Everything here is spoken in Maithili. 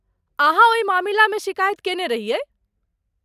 अहाँ ओहि मामिलामे शिकायत केने रहियै?